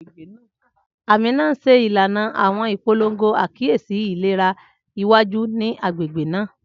Amina n ṣe ilana awọn ipolongo akiyesi ilera iwaju ni agbegbe naa.